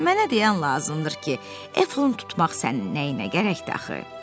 Mənə dəyən lazımdır ki, efant tutmaq sənin nəyinə gərəkdir axı.